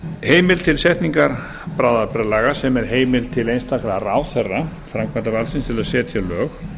heimild til setningar bráðabirgðalaga sem er heimild til einstakra ráðherra framkvæmdarvaldsins til að setja lög